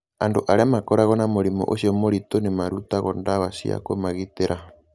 Andũ arĩa makoragwo na mũrimũ ũcio mũritũ nĩ marutagwo ndawa cia kũmagitĩra.